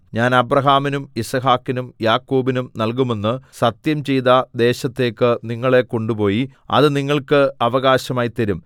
ഞാൻ അബ്രാഹാമിനും യിസ്ഹാക്കിനും യാക്കോബിനും നല്കുമെന്ന് സത്യംചെയ്ത ദേശത്തേക്ക് നിങ്ങളെ കൊണ്ടുപോയി അത് നിങ്ങൾക്ക് അവകാശമായി തരും